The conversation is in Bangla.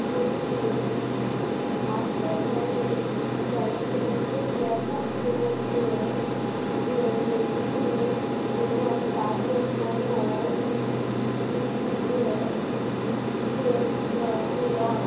ওদের তফাৎ কেবল যে যেগুলি এবং তাদের কোন ইন